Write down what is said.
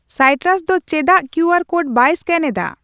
ᱥᱟᱭᱴᱨᱟᱥ ᱫᱚ ᱪᱮᱫᱟᱜ QR code ᱵᱟᱭ ᱥᱠᱮᱱ ᱮᱫᱟ ?